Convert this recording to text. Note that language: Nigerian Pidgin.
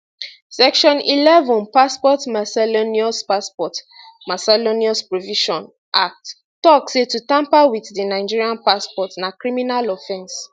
section 1 1 passport miscellaneous passport miscellaneous provisions act tok say to tamper wit di nigerian passport na criminal offence